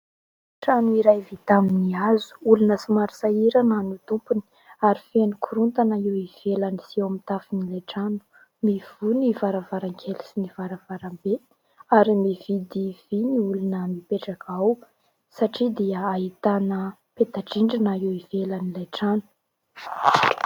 Trano iray vita amin'ny hazo. Olona somary sahirana no tompony ary feno korontana ny eo ivelany sy eo amin'ny tafon'ilay trano. Mivoha ny varavarankely sy ny varavarambe ary mividy vy ny olona mipetraka ao satria dia ahitana petadrindrina eo ivelan'ilay trano.